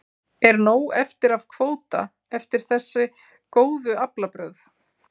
Er nóg eftir af kvóta eftir þessi góðu aflabrögð?